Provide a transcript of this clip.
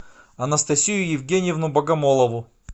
анастасию евгеньевну богомолову